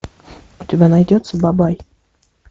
у тебя найдется бабай